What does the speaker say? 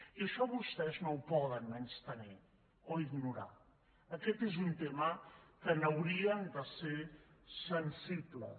i això vostès no ho poden menystenir o ignorar aquest és un tema en què haurien de ser sensibles